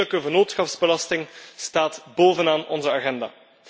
Eerlijke vennootschapsbelasting staat boven aan onze agenda.